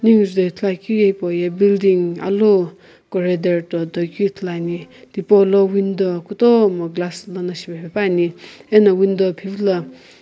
neu juto ithulu ye hipou ye building alu corador ah toku ithulu ane thipo lo window kutomo glass no shipaepane ano window phivilo --